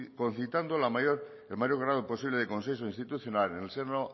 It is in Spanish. concitando el mayor grado posible de consenso institucional en el seno